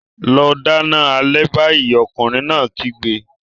Lọ dáná alẹ́ báyìí! Ọkùnrin náà kígbe.